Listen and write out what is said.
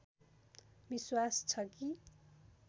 विश्वास छ कि